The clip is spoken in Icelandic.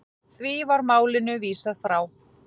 Því var málinu vísað frá.